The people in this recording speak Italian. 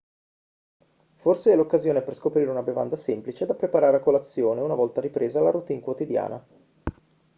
forse è l'occasione per scoprire una bevanda semplice da preparare a colazione una volta ripresa la routine quotidiana